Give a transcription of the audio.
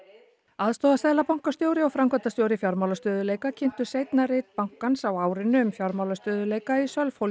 aðstoðarseðlabankastjóri og framkvæmdastjóri fjármálastöðugleika kynntu seinna rit bankans á árinu um fjármálastöðugleika í